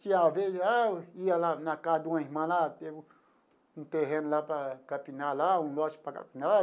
Que, às vezes, lá ia lá na casa de uma irmã lá, tem um terreno lá para capinar lá, um negócio para capinar.